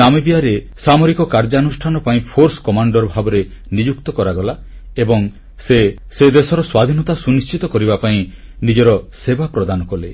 ନାମିବିୟାରେ ସାମରିକ କାର୍ଯ୍ୟାନୁଷ୍ଠାନ ପାଇଁ ଫୋର୍ସ କମାଣ୍ଡର ଭାବେ ନିଯୁକ୍ତ କରାଗଲା ଏବଂ ସେ ସେହି ଦେଶର ସ୍ୱାଧୀନତା ସୁନିଶ୍ଚିତ କରିବା ପାଇଁ ନିଜର ସେବା ପ୍ରଦାନ କଲେ